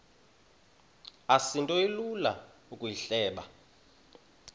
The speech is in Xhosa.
asinto ilula ukuyihleba